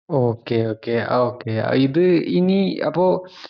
okey okay okay ഇത് ഇഞി അപ്പൊ